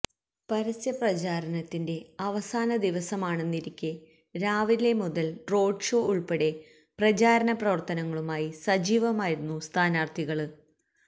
പരസ്യ പ്രചാരണത്തിന്റെ അവസാന ദിവസമാണെന്നിരിക്കെ രാവിലെ മുതല് റോഡ് ഷോ ഉള്പ്പെടെ പ്രചാരണ പ്രവര്ത്തനങ്ങളുമായി സജീവമായിരുന്നു സ്ഥാനാര്ത്ഥികള്